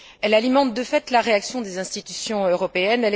Elle alimente de fait la réaction des institutions européennes.